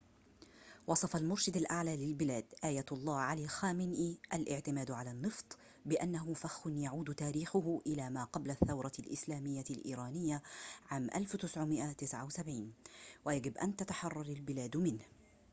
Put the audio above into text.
وصف المرشد الأعلى للبلاد آية الله علي خامنئي الاعتماد على النفط بأنه فخ يعود تاريخه إلى ما قبل الثورة الإسلامية الإيرانية عام 1979 ويجب أن تتحرر البلاد منه